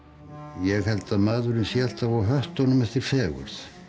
ég held að maðurinn sé alltaf á höttunum eftir fegurð